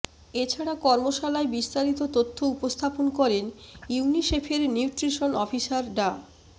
এছাড়া কর্মশালায় বিস্তারিত তথ্য উপস্থাপন করেন ইউনিসেফের নিউট্রিশন অফিসার ডা